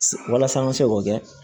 Walasa an ka se k'o kɛ